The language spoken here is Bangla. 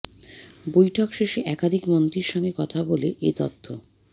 বৈঠক শেষে একাধিক মন্ত্রীর সঙ্গে কথা বলে এ তথ্য